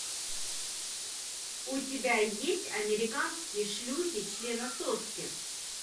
у тебя есть американские шлюхи членососки